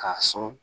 K'a sɔn